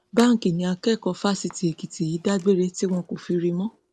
báńkì ni akẹkọọ fásitì èkìtì yìí dágbére tí wọn kò fi rí i mọ